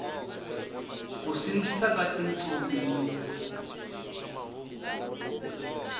ku sindzisa ka tintsumi ni